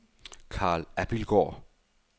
Karl Abildgaard